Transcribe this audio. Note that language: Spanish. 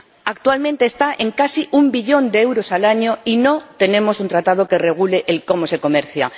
Actualmente está en casi un billón de euros al año y no tenemos un tratado que regule el cómo se comercia.